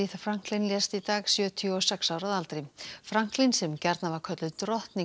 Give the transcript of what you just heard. Franklin lést í dag sjötíu og sex ára að aldri Franklin sem gjarnan var kölluð drottning